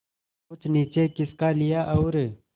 कुछ नीचे खिसका लिया और